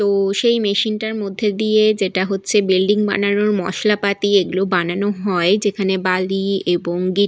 তো সেই মেশিন টার মধ্যে দিয়ে-এ যেটা হচ্ছে বিল্ডিং বানানোর মশলাপাতি এগুলো বানানো হয় যেখানে বালি এবং গে --